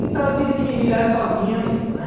Então eu tive que me virar sozinha mesmo, né?